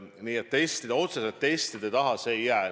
Nii et otseselt testide taha asi ei jää.